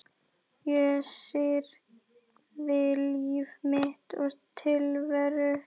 Ég syrgði líf mitt og tilveru.